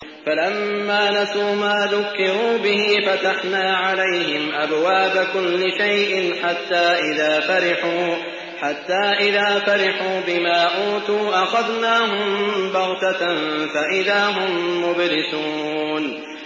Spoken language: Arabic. فَلَمَّا نَسُوا مَا ذُكِّرُوا بِهِ فَتَحْنَا عَلَيْهِمْ أَبْوَابَ كُلِّ شَيْءٍ حَتَّىٰ إِذَا فَرِحُوا بِمَا أُوتُوا أَخَذْنَاهُم بَغْتَةً فَإِذَا هُم مُّبْلِسُونَ